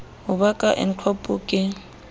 ho ba ka ncop ke